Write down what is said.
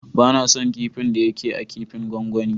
Ba na son kipin da ya ke a kipin gwangwani.